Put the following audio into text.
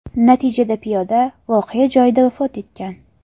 Natijada piyoda voqea joyida vafot etgan.